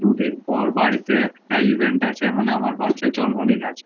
দু দিন পর, বাড়িতে একটা ইভেন্ট আছে event মানে আমার বাঁচার জন্ম দিন আছে